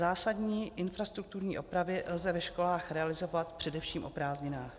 Zásadní infrastrukturní opravy lze ve školách realizovat především o prázdninách.